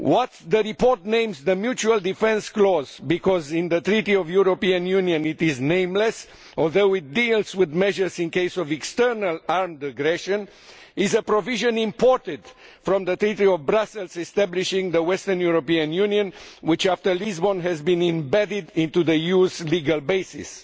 What the report names the mutual defence clause because in the Treaty on European Union it is nameless although it deals with measures in case of external armed aggression is a provision imported from the Treaty of Brussels establishing the Western European Union, which after Lisbon has been embedded into the EU's legal basis.